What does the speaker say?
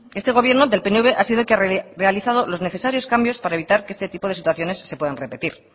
este gobierno del pnv ha sido el que ha realizado los necesarios cambios para evitar que este tipo de situaciones se puedan repetir